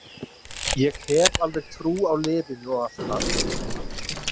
Ég hef alveg trú á liðinu og allt það.